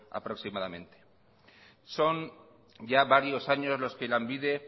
aproximadamente son ya varios años los que lanbide